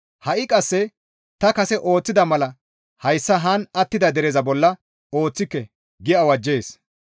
Ha7i qasse ta kase ooththida mala hayssa haan attida dereza bolla ooththike» gi awajjees.